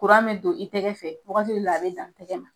be don i tɛgɛ fɛ, wagati dɔw la a be dan tɛgɛ ma.